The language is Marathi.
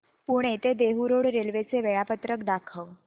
पुणे ते देहु रोड रेल्वे चे वेळापत्रक दाखव